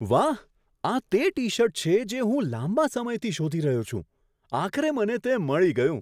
વાહ! આ તે ટી શર્ટ છે જે હું લાંબા સમયથી શોધી રહ્યો છું. આખરે મને તે મળી ગયું.